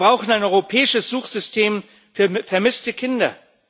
Wir brauchen ein europäisches Suchsystem für vermisste Kinder.